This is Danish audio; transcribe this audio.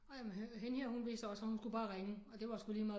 Ej men hende her hun vidste også at hun skulle bare ringe og det var sgu lige meget